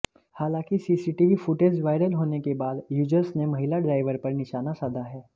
हालांकि CCTV footage viral होने के बाद यूजर्स ने महिला ड्राइवर पर निशाना साधा है